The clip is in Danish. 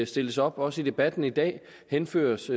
stilles op også i debatten i dag henføres